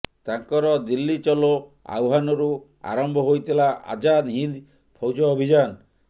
ତାଙ୍କର ଦିଲ୍ଲୀ ଚଲୋ ଆହ୍ୱାନରୁ ଆରମ୍ଭ ହୋଇଥିଲା ଆଜାଦ ହିନ୍ଦ ଫୌଜ ଅଭିଯାନ